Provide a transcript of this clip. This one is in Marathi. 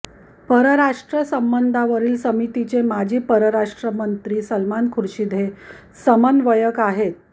परराष्ट्र संबंधांवरील समितीचे माजी परराष्ट्र मंत्री सलमान खुर्शिद हे समन्वयक आहेत